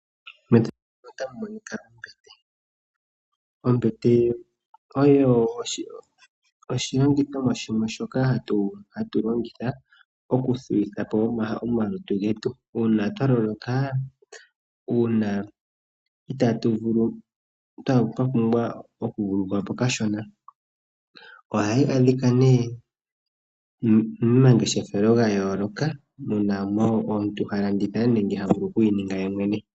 Methano muno otamu monika ombete, ombete oyo oshilongithomwa shoka hatu longitha okuthuwitha po omalutu getu uuna twaloloka, uuna itatuvulu twapumbwa okuvululukwa po kashona ohayi adhika nee momangeshefelo gayooloka muna ano omuntu halanditha nenge havulu okuyi ninga yemwene.